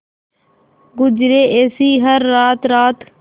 गुजरे ऐसी हर रात रात